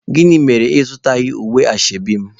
Gịnị mere na ị zụghị unifọm ashebi m?